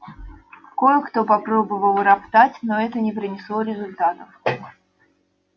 кое-кто попробовал роптать но это не принесло результатов